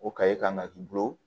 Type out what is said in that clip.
O kan ka k'i bolo